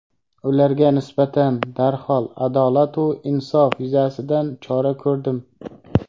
ularga nisbatan darhol adolatu insof yuzasidan chora ko‘rdim.